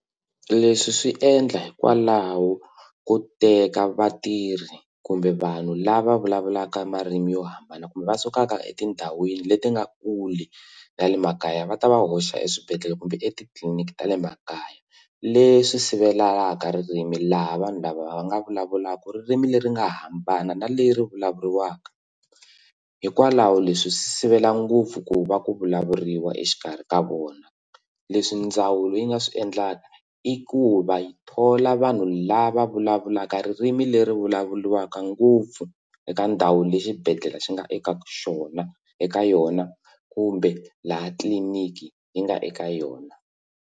Leswi swi endla hikwalaho ko teka vatirhi kumbe vanhu lava vulavulaka marimi yo hambana kumbe va sukaka etindhawini leti nga kule na le makaya va ta va hoxa eswibedhlele kumbe etitliliniki ta le makaya leswi sivelaka ririmi laha vanhu lava va nga vulavulaka ririmi leri nga hambana na leri vulavuriwaka hikwalaho leswi sivela ngopfu ku va ku vulavuriwa exikarhi ka vona leswi ndzawulo yi nga swi endlaka i ku va yi thola vanhu lava vulavulaka ririmi leri vulavuliwaka ngopfu eka ndhawu le xibedhlele xi nga eka xona eka yona kumbe laha tliliniki yi nga eka yona.